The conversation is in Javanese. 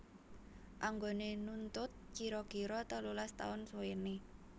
Anggone nuntut kira kira telulas taun suwene